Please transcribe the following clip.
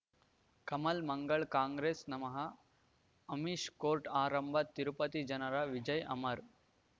ಕಮಲ್ ಮಂಗಳ್ ಕಾಂಗ್ರೆಸ್ ನಮಃ ಅಮಿಷ್ ಕೋರ್ಟ್ ಆರಂಭ ತಿರುಪತಿ ಜನರ ವಿಜಯ ಅಮರ್